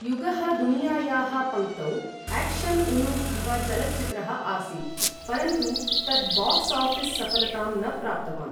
युगः दुनियायाः पङ्क्तौ एक्शन उन्मुखः चलच्चित्रः आसीत्, परन्तु तत् बाक्स ऑफिस सफलतां न प्राप्तवान् ।